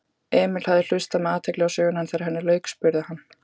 Emil hafði hlustað með athygli á söguna en þegar henni lauk spurði hann